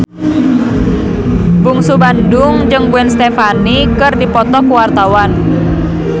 Bungsu Bandung jeung Gwen Stefani keur dipoto ku wartawan